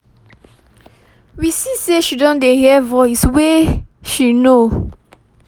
we see say she don she don dey hear voice wey she know